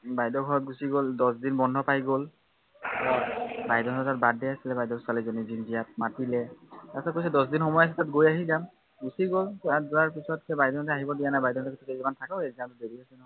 বাইদেউৰ ঘৰত গুচি গল, দহদিন বন্ধ পাই গল, বাইদেউহঁতৰ birthday আছিলে বাইদেউৰ ছোৱালীজনীৰ জিনিজয়াৰ, মাতিলে, তাৰপিছত কৈছে দহদিন সময় আছে গৈ আহি যাম। গুচি গল, তাত যোৱাৰ পিছত বাইদেউহঁতে আহিব দিয়া নাই, বাইদেউহঁতে কৈছে কেইদিনমান থাকক result দেৰি আছে